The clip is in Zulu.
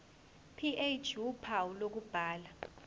ph uphawu lokubhala